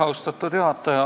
Austatud juhataja!